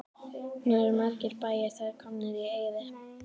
Nú eru margir bæir þar komnir í eyði.